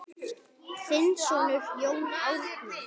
Þinn sonur, Jón Árni.